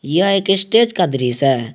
यह एक स्टेज का दृश्य है।